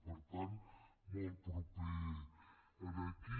per tant molt proper a aquí